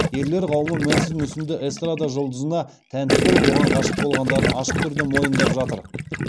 ерлер қауымы мінсіз мүсінді эстрада жұлдызына тәнті болып оған ғашық болғандарын ашық түрде мойындап жатыр